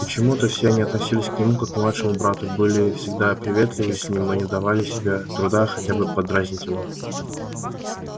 почему-то все они относились к нему как к младшему брату были всегда приветливы с ним и не давали себе труда хотя бы подразнить его